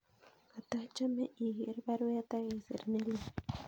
Katachame iger baruet agisir nelelach